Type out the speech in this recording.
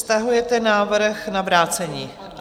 Stahujete návrh na vrácení?